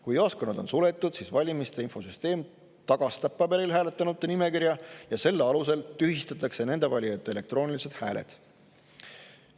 Kui jaoskonnad on suletud, siis valimiste infosüsteem tagastab paberil hääletanute nimekirja ja selle alusel tühistatakse nende valijate elektroonilised hääled.